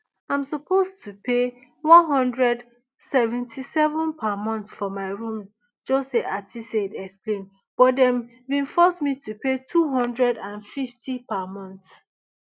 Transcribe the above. i suppose to pay one hundred seventy-seven per month for my room jose aristide explain but dem bin force me to pay two hundred and fifty per month